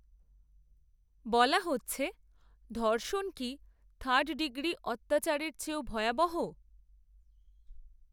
বলা হচ্ছে, ধর্ষণ কি থার্ড ডিগ্রি অত্যাচরের চেয়েও ভয়াবহ?